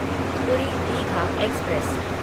पूरी दीघा एक्सप्रेस